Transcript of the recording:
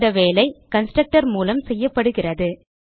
இந்த வேலை கன்ஸ்ட்ரக்டர் மூலம் செய்யப்படுகிறது